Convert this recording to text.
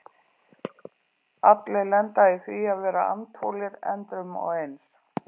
Allir lenda í því að vera andfúlir endrum og eins.